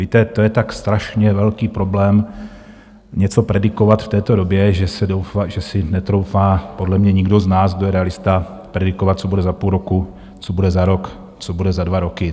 Víte, to je tak strašně velký problém, něco predikovat v této době, že si netroufá podle mě nikdo z nás, kdo je realista, predikovat, co bude za půl roku, co bude za rok, co bude za dva roky.